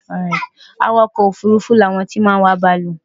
Awakò̩ òfurufú ni àwon tí máa n wa bàálù.